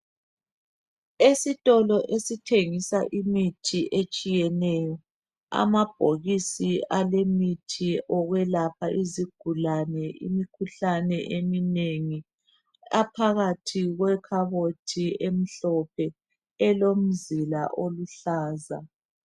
Esitolo esithengisa imithi etshiyeneyo. Amabhokisi alemithi yokwelapha izigulane imikhuhlane eminengi. Aphakathi kwe khabothi emhlophe elomzila oluhlaza.